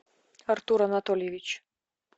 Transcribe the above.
артур анатольевич